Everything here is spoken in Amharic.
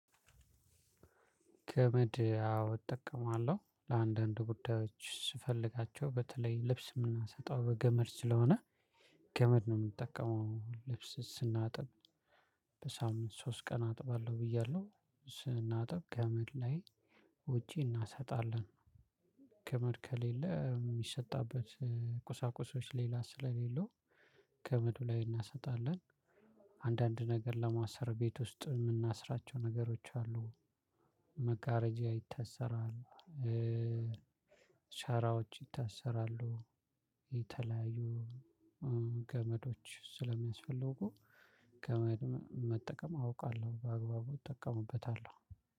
ገመድ አዎ እጠቀማለሁ። ለአንዳንድ ጉዳዮች ስፈልጋቸው። በተለይ ልብስ የምናሰጣው በገመድ ስለሆነ ገመድ ነው የምንጠቀመው ልብስ ስናጥብ። በሳምንት ሶስት ቀን አጥባለሁ ብያለሁ። ስናጥብ ገመድ ላይ ውጪ እናሰጣለን። ገመድ ከሌለ የሚሰጣበት ቁሳቁሶች ሌላ ስለሌለው ገመዱ ላይ እናሰጣለን። አንዳንድ ነገር ለማሰር ቤት ውስጥ የምናስራቸው ነገሮች አሉ። መጋረጃ ይታሰራል። ሸራዎች ይታሰራሉ። የተለያዩ ገመዶች ስለሚያስፈልጉ ገመድ መጠቀም አውቃለሁ። በአግባቡ እጠቀምበታለሁ።